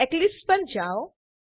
Eclipse પર જાઓ